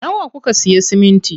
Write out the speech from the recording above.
Nawa kuka siya siminti?